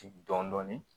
Dɔɔnin dɔɔnin